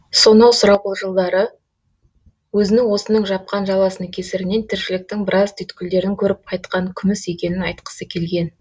сонау сұрапыл жылдары өзінің осының жапқан жаласының кесірінен тіршіліктің біраз түйткілдерін көріп қайтқан күміс екенін айтқысы келген